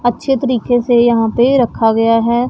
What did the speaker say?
अच्छे तरीके से यहां पे रखा गया हैं।